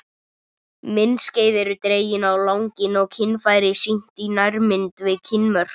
Myndskeið eru dregin á langinn og kynfæri sýnd í nærmynd við kynmök.